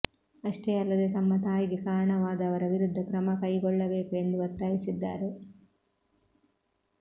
ಅಷ್ಟೇ ಅಲ್ಲದೆ ತಮ್ಮ ತಾಯಿಗೆ ಕಾರಣವಾದವರ ವಿರುದ್ಧ ಕ್ರಮ ಕೈಗೊಳ್ಳಬೇಕು ಎಂದು ಒತ್ತಾಯಿಸಿದ್ದಾರೆ